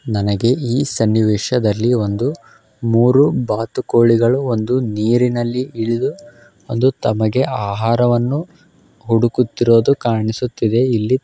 ನನಗೆ ಈ ಸನ್ನಿವೇಶದಲ್ಲಿಒಂದು ಮೂರು ಬಾತುಕೋಳಿಗಳುಬಂದು ನೀರಿನಲ್ಲಿ ಇಳಿದು ಒಂದು ತಮಗೆ ಆಹಾರವನ್ನು ಹುಡುಕುತ್ತಿರುವುದನ್ನು ಕಾಣಿಸುತ್ತಿದೆ ಇಲ್ಲಿ--